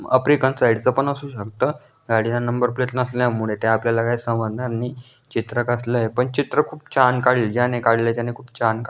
African साइडच पण असू शकत गाडीला नंबर प्लेट नसल्यामुळे ते आपल्याला काय समजणार नाही चित्र कसलय पण चित्र खूप छान काढलय ज्याने काढलय त्याने खूप छान --